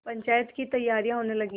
पंचायत की तैयारियाँ होने लगीं